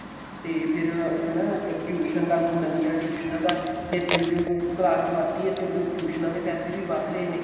ਤੇ ਫੇਰ ਉਹ ਨਾ tuition ਦਾ ਅੱਗੋ ਨਵੀਆਂ ਟੁਈਸ਼ਨਾ ਦਾ ਤੇ ਜਿਉ ਜਿਉ ਹੁਣ class ਵੱਧਦੀ ਏ ਤਿਉ ਤਿਉ ਟੁਈਸ਼ਨਾ ਦੇ ਪੈਸੇ ਵੀ ਵੱਧ ਰਹੇ ਨੇ